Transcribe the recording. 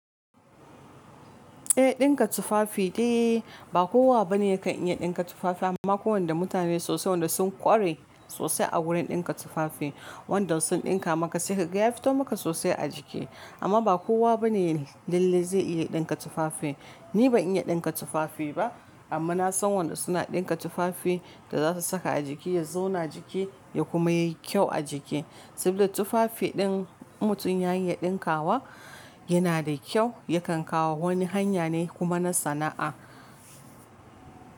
Eh ɗinka tufafi dai ba kowa bane ya kan iya dinka tufafi amma kwai wanda mutane sosai wanda sun ƙware sosai a wurin dinka tufafi wanda sun ɗinka maka sai ka ga ya fito maka sosai a jiki amma ba kowa bane lalle zai iya ɗinka tufafi. Ni ban iya dinka tufafi ba amma na san wanda suna dinka tufafi da zasu saka a jiki ya zauna jiki ya kuma yi kyau a jiki saboda tufafi ɗin in mutum ya yi ya dinka wa yana da kyau ya kan kawo wani hanya ne kuma na sana'a.